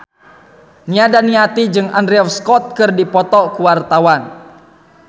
Nia Daniati jeung Andrew Scott keur dipoto ku wartawan